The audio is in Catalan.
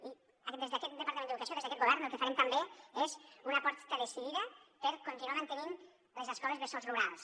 i des d’aquest departament d’educació des d’aquest govern el que farem també és una aposta decidida per continuar mantenint les escoles bressol rurals